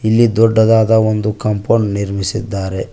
ಇಲ್ಲಿ ದೊಡ್ಡದಾದ ಒಂದು ಕಾಂಪೌಂಡ್ ನಿರ್ಮಿಸಿದ್ದಾರೆ.